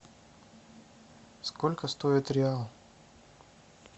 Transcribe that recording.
сколько стоит реал